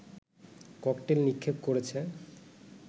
cocktail নিক্ষেপ করেছে